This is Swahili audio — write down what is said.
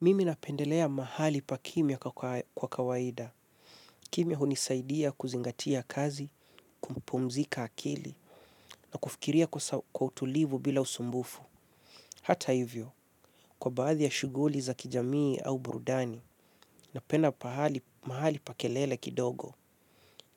Mimi napendelea mahali pa kimya kwa kawaida. Kimya hunisaidia kuzingatia kazi, kupumzika akili, na kufikiria kwa utulivu bila usumbufu. Hata hivyo, kwa baadhi ya shughuli za kijamii au burudani, napenda mahali pa kelele kidogo